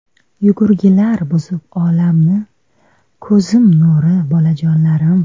Yugurgilar buzib olamni, Ko‘zim nuri bolajonlarim.